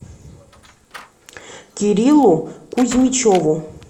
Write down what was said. кириллу кузьмичеву